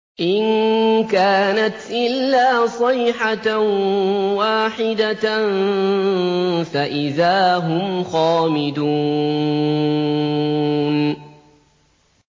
إِن كَانَتْ إِلَّا صَيْحَةً وَاحِدَةً فَإِذَا هُمْ خَامِدُونَ